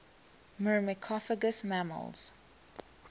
myrmecophagous mammals